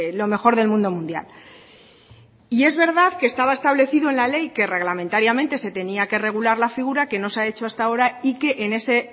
lo mejor del mundo mundial y es verdad que estaba establecido en la ley que reglamentariamente se tenía que regular la figura que no se ha hecho hasta ahora y que en ese